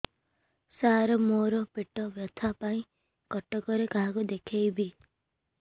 ସାର ମୋ ର ପେଟ ବ୍ୟଥା ପାଇଁ କଟକରେ କାହାକୁ ଦେଖେଇବି